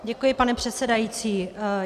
Děkuji, pane předsedající.